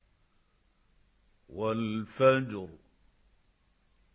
وَالْفَجْرِ